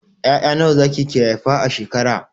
Ya'ya nawa zaki ke haifa a shekara?